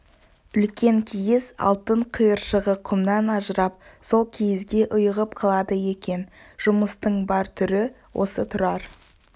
үлкен киіз алтын қиыршығы құмнан ажырап сол киізге ұйығып қалады екен жұмыстың бар түрі осы тұрар